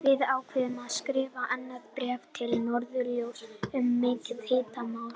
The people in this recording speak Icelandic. Við ákváðum að skrifa annað bréf til Norðurljósa um mikið hitamál!